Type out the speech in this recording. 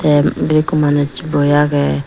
the ibet ekku manuj boi agey.